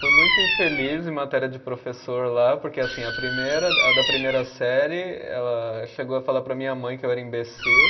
Fui muito infeliz em matéria de professor lá, porque assim, a primeira, a da primeira série, ela chegou a falar para a minha mãe que eu era imbecil.